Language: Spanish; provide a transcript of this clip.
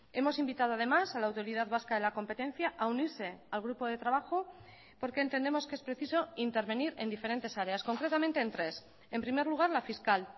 hemos invitado además a la autoridad vasca de la competencia a unirse al grupo de trabajo porque entendemos que es preciso intervenir en diferentes áreas concretamente en tres en primer lugar la fiscal